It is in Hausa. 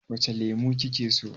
Wace lemo kike so?